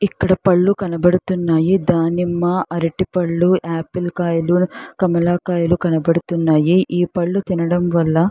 ఇక్కడ పండ్లు కనపడుతున్నాయి దానిమ అరటి పండ్లు ఆపిల్ కాయలు కమల కాయలు కనపడుతున్నాయి ఈ పందులు తినడం వల్ల --